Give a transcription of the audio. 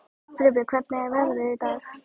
Friðbjörg, hvernig er veðrið í dag?